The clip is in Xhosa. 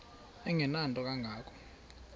engenanto kanga ko